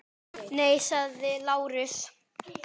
Gætu aldrei dáið.